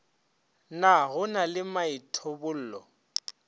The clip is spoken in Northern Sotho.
na go na le maithobollo